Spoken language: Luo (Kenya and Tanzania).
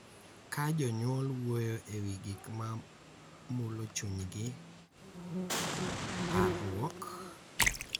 Ka jonyuol wuoyo e wi gik ma mulo chunygi, parruok,